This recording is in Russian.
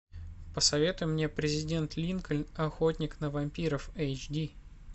посоветуй мне президент линкольн охотник на вампиров эйч ди